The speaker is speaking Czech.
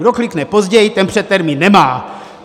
Kdo klikne později, ten předtermín nemá.